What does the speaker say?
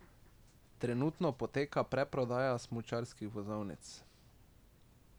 Trenutno poteka predprodaja smučarskih vozovnic.